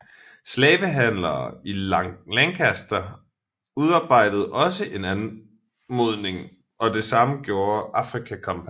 Slavehandlere i Lancaster udarbejdede også en anmodning og det samme gjorde Africa Company